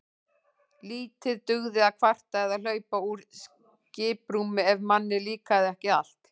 Lítið dugði að kvarta eða hlaupa úr skiprúmi ef manni líkaði ekki allt.